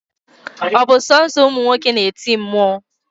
ọ bụ sọsọ ụmụ nwoke na-eti mmụọ